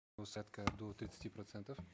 усадка до тридцати процентов